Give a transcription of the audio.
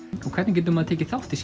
og hvernig getur maður tekið þátt í